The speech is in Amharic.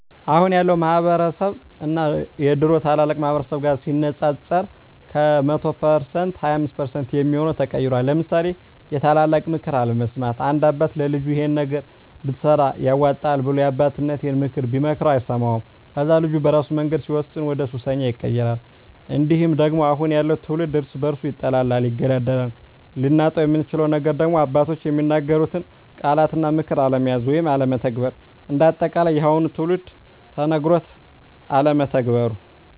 አሁን ያለው ማህበረስብ እና የድሮ ታላላቅ ማህበረሰብ ጋር ሲነፃፀር ከ100% 25% የሚሆው ተቀይሯል ለምሳሌ የታላላቅ ምክር አለመስማት፦ አንድ አባት ለልጁ ይሄን ነገር ብትሰራ ያዋጣሀል ብሎ የአባቴነተን ምክር ቢመክረው አይሰማውም ከዛ ልጁ በራሱ መንገድ ሲወስን ወደሱሰኛ ይቀየራል። እንዲሁም ደግሞ አሁን ያለው ትውልድ እርስ በርሱ ይጣላል ይገዳደላል። ልናጣው የምንችለው ነገር ደግሞ አባቶች የሚናገሩትን ቃላት እና ምክር አለመያዝ ወይም አለመተግበር። እንደ አጠቃላይ የአሁኑ ትውልድ ተነገሮ አለመተግበሩ